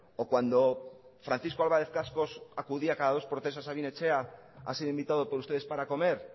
o cuando francisco álvarez cascos acudía cada dos por tres a sabin etxea ha sido invitado por ustedes para comer